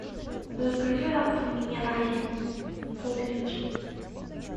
закажи аква минерале поллитра